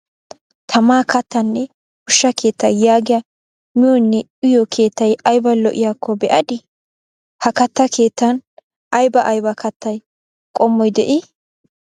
Tamaa kattanne ushshaa keetta yaagiya miyonne uyyiyo keettay aybba lo"iyakko be"adi? Ha kattaa keettan aybba aybba kattay qommoy de"ii ?